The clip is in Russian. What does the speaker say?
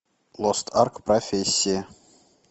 лост арк профессии